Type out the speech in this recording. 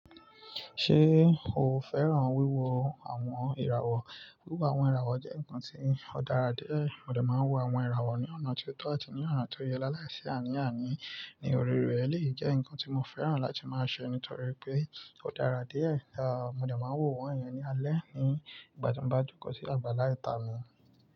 Ṣé o fẹ́ràn wíwo àwọn ìràwọ̀? Wíwo àwọn ìràwọ̀ jẹ́ nǹkan tí ó dára díẹ̀. Mo de máa ń wo àwọn ìràwọ̀ ní ọ̀nà tó tọ́ àti ní ọ̀nà tó yẹ láàlá ìṣẹ́ àní àní ní òrèré. Ó lè jẹ́ nǹkan tí mo fẹ́ràn láti máa ṣe nítorí pé ó dára díẹ̀. Ẹ̀, mo de máa ń wo wọ́n iyẹn ní alẹ́ ní ìgbà tó ń bá jókòó sí àgbàlá ìta mi.